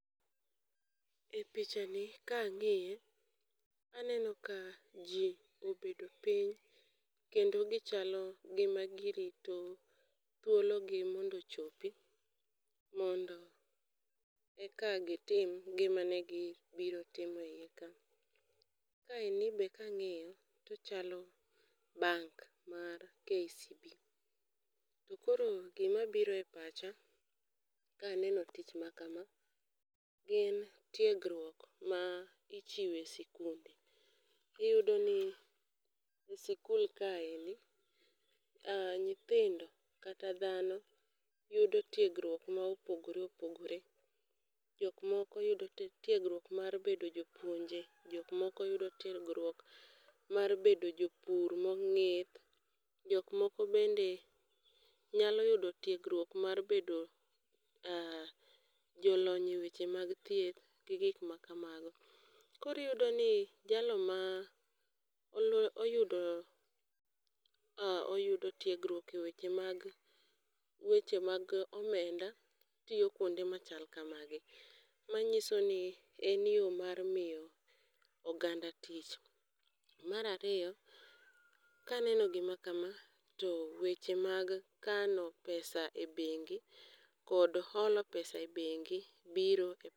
E picha ni ka ang'iye aneno ka ji obedo piny, kendo gichalo gima girito thuolo gi mondo ochopi. Mondo eka gitim gima ne gi biro timeo e iye ka. Kaeni be kang'iyo tochalo bank mar KCB, to koro gima biro e pacha ka aneno tich ma kama gin tiegruok ma ichiwe sikunde. Iyudo ni e sikul kaeni, nyithindo kata dhano yudo tiegruok ma opogore opogore. Jok moko yudo tiegruok mar bedo jopuonje, jok moko yudo tiegruok mar bedo jopur mong'ith. Jok moko bende nyalo yudo tiegruok mar bedo jolony e weche mag thieth gi gik ma kamago. Koriyudo ni jalo ma oyudo oyudo tiegruok e weche mag weche mag omenda tiyo kuonde machal kamagi. Manyiso ni en yo mar miyo oganda tich. Marariyo, kaneno gima kama, to weche mag kano pesa e bengi kod holo pesa e bengi biro.